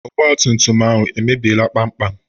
Ọgbatumtum ahụ emebiela kpamkpam?